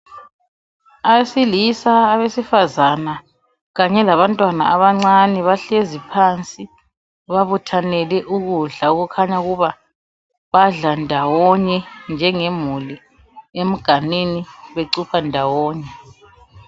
Abesilisa, abesifazane kanye labantwana abancane bahlezi phansi babuthanele ukudla okukhanya ukuba badla ndawonye njengemuli emganwini becupha ndawonye.